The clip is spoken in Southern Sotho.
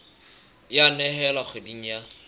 e a nehelwa kgweding ya